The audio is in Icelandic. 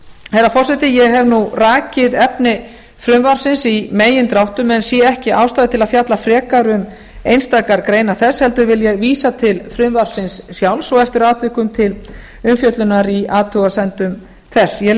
herra forseti ég hef nú rakið efni frumvarpsins í megindráttum en sé ekki ástæðu til að fjalla frekar um einstakar greinar þess heldur vil ég vísa til frumvarpsins sjálfs og eftir atvikum til umfjöllunar í athugasemdum þess ég